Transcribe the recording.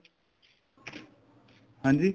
ਹਾਂਜੀ